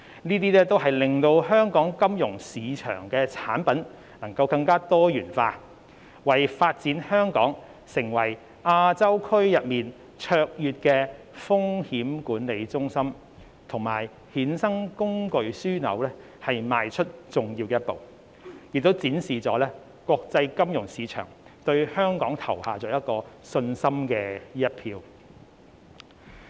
這些都會令香港金融市場的產品更多元化，為發展香港成為亞洲區內卓越的風險管理中心及衍生工具樞紐邁出重要的一步，並展示國際金融市場對香港投下信心的一票。